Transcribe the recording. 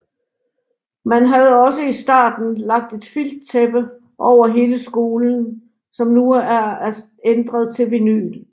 Man havde også i starten lagt et filttæppe over hele skolen som nu er ændret til vinyl